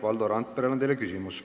Valdo Randperel on teile küsimus.